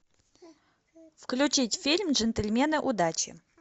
включить фильм джентльмены удачи